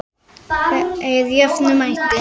Þeir jöfnuðu metin.